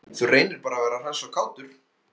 Þú reynir bara að vera hress og kátur!